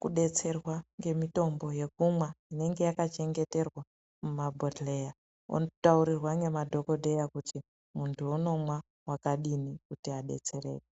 kubetserwa ngemitombo yekumwa inenge yaka chengeterwa mumabhedhlera ano taurirwa nema dhokodheya kuti muntu anomwa wakadini .